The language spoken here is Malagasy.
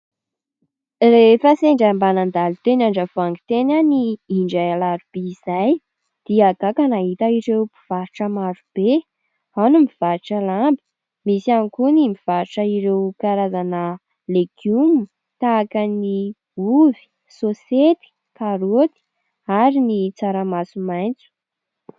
Rehefa sendra mba nandalo teny Andravoahangy teny aho indray alarobia izay dia gaga nahita ireo mpivarotra marobe : ao ny mivarotra lamba, misy ihany koa ny mivarotra ireo karazana legioma tahaka ny ovy, sosety, karaoty ary ny tsaramaso maitso.